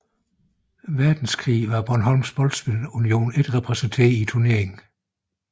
Verdenskrig var Bornholms Boldspil Union ikke repræsenteret i turneringen